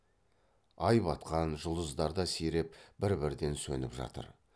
ай батқан жұлдыздар да сиреп бір бірден сөніп жатыр